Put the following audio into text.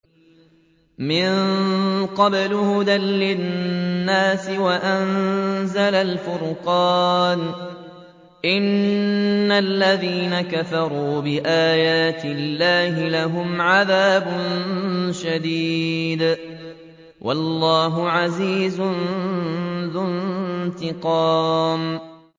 مِن قَبْلُ هُدًى لِّلنَّاسِ وَأَنزَلَ الْفُرْقَانَ ۗ إِنَّ الَّذِينَ كَفَرُوا بِآيَاتِ اللَّهِ لَهُمْ عَذَابٌ شَدِيدٌ ۗ وَاللَّهُ عَزِيزٌ ذُو انتِقَامٍ